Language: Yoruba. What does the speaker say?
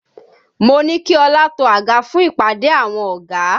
Mo ní kí ọlá to àga fún ìpàdé àwọn ọ̀gá